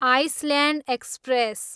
island express